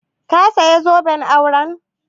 Ka saya zoben auren?